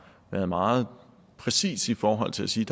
været meget præcis i forhold til at sige